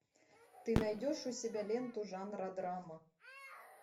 ты найдешь у себя ленту жанра драма